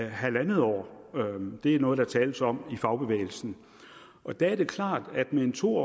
en halv år det er noget der tales om i fagbevægelsen og der er det klart at med en to